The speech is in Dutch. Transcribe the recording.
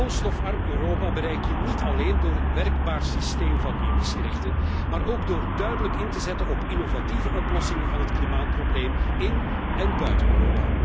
Een koolstofarm Europa bereik je niet alleen door een werkbaar systeem van emissierechten, maar ook door duidelijk in te zetten op innovatieve oplossingen van het klimaatprobleem in én buiten Europa.